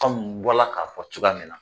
K'anw bɔla ka fɔ cogoya min na